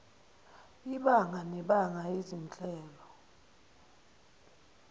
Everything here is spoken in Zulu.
ibanga nebanga izinhlelo